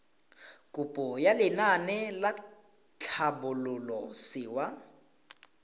kopo ya lenaane la tlhabololosewa